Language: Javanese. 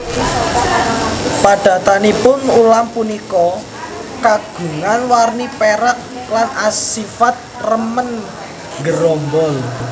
Padatanipun ulam punika kagungan warni pérak lan asifat remen nggerombol